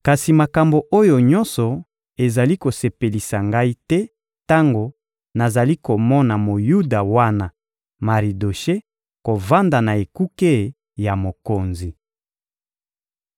Kasi makambo oyo nyonso ezali kosepelisa ngai te tango nazali komona Moyuda wana Maridoshe kovanda na ekuke ya mokonzi.